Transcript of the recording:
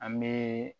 An bɛ